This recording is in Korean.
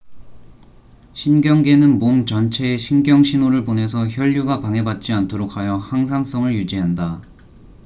신경계는 몸 전체에 신경 신호를 보내서 혈류가 방해받지 않도록 하여 항상성을 유지한다